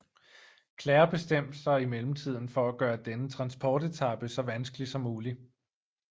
Clair bestemte sig i mellemtiden for at gøre denne transportetape så vanskelig som mulig